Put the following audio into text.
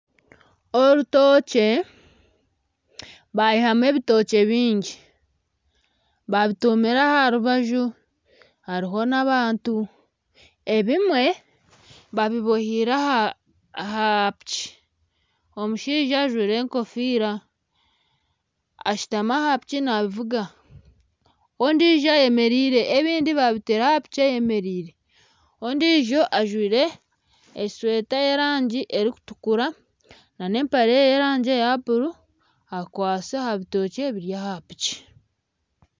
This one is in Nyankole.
Orutookye baihamu ebitookye bingi babitumire aha rubaju hariho n'abantu ebimwe babibohire aha piki, omushaija ajwaire egofiira ashutami aha piki navuga n'ondiijo ayemereire n'ebindi babiteire aha piki ayemereire, n'ondiijo ajwaire esweeta y'erangi erikutukura na n'empare y'erangi ya buru akwaitse aha bitookye ebiri aha piki.